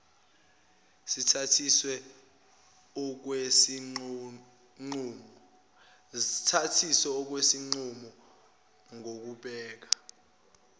sithathiswe okwesinqumo ngokubheka